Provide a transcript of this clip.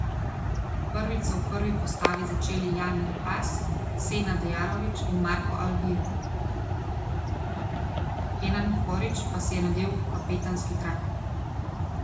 Prvič so v prvi postavi začeli Jan Repas, Senad Jarović in Marko Alvir, Kenan Horić pa si je nadel kapetanski trak.